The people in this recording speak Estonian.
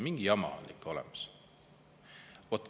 Mingi jama nagu on.